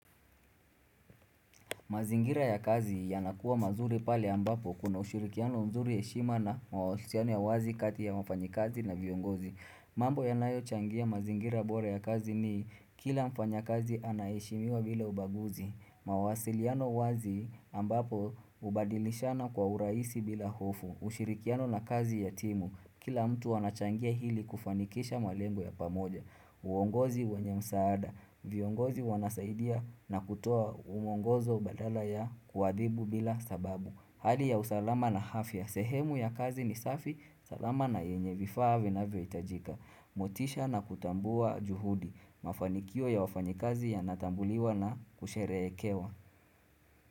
Mazingira ya kazi yanakuwa mazuri pale ambapo kuna ushirikiano mzuri heshima na mawasiliano ya wazi kati ya wafanyikazi na viongozi. Mambo yanayo changia mazingira bora ya kazi ni kila mfanyakazi anaheshimiwa bila ubaguzi. Mawasiliano wazi ambapo hubadilishana kwa urahisi bila hofu. Ushirikiano na kazi ya timu. Kila mtu anachangia hili kufanikisha malengo ya pamoja. Uongozi wenye msaada viongozi wanasaidia na kutoa uongozo badala ya kuadhibu bila sababu Hali ya usalama na afya sehemu ya kazi ni safi salama na yenye vifaa vinavyo hitajika motisha na kutambua juhudi Mafanikio ya wafanyikazi yanatambuliwa na kusherehekewa.